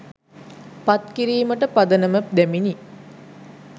පත් කිරීමට පදනම දැමිණි.